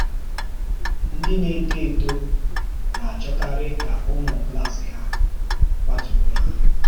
Ńdí na-étò etò na-achọkarị ka ụmụ̀ klás hà kwàátụrụ̀ hà.